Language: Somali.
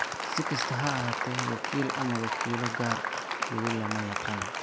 Si kastaba ha ahaatee, wakiil ama wakiilo gaar ah weli lama yaqaan.